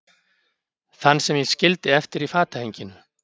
Þann sem ég skildi eftir í fatahenginu.